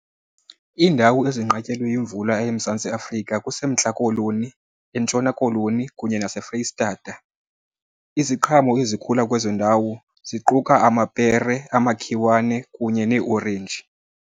Iindawo ezinqatyelwe yimvula eMzantsi Afrika kuseMntla Koloni, eNtshona Koloni kunye naseFreyi Stata. Iziqhamo ezikhula kwezo ndawo ziquka amapere, amakhiwane kunye neeorenji.